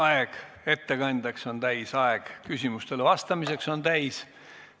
Aeg ettekandeks on täis ja aeg küsimustele vastamiseks on täis.